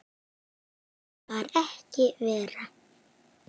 Það var ekki verra.